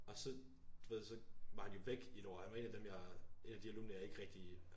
Og så du ved så var han jo væk i et år og han var en af dem jeg en af de alumner jeg ikke rigtig